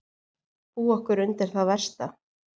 . búa okkur undir það versta.